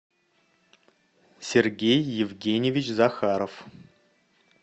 сергей евгеньевич захаров